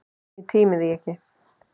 Ég tímdi því ekki.